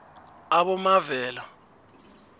abomavela